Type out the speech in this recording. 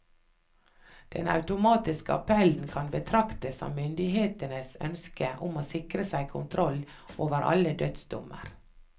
Den automatiske appellen kan betraktes som myndighetenes ønske om å sikre seg kontroll over alle dødsdommer.